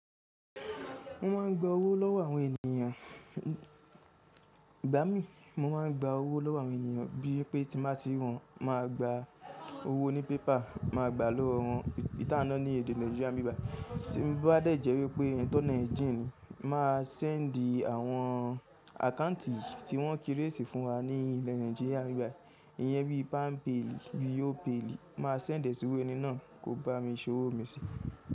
Mo máa ń gba owó lọ́wọ́ àwọn ènìyàn. I gba mi, mo máa ń gba owó lọ́wọ́ àwọn ènìyàn bí i pé tí n bá tí ri wọn ma gba owó ní pépà, máa gba lọ́wọ́ wọn. Tí a ná ní èdè Naijiria bíbà, tí bá dẹ̀ jẹ́ wípé ẹni tó Naijíríà ni, máa sẹ́ẹ̀ńdì àwọn àkáǹtì tí wọ́n kírésìí fún wa ní ilẹ̀ Naijiria bíbà. Ìyẹn bí i Pampeli, bí i Opayli, máa sẹ́ẹ̀ńdì síwé ẹni náà kó bá mi san owó mi sí.